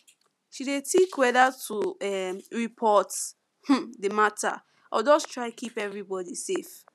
she dey think whether to um report um the matter or just try keep everybody safe